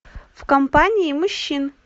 в компании мужчин